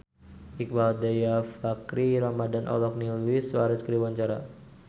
Iqbaal Dhiafakhri Ramadhan olohok ningali Luis Suarez keur diwawancara